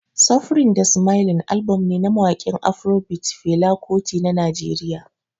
Suffering da Smiling album ne na mawakin Afrobeat Fela Kuti na Najeriya